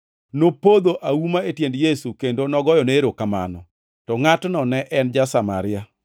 Nopodho auma e tiend Yesu kendo nogoyone erokamano, to ngʼatno ne en ja-Samaria.